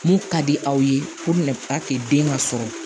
Mun ka di aw ye ko bɛna den ka sɔrɔ